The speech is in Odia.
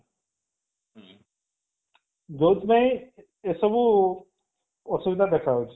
ଯୋଉଥି ପାଇଁ ଏସବୁ ଅସୁବିଧା ଦେଖା ଯାଉଛି